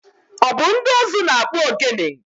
Ọ bụ ndị ụzụ na-akpụ ogene?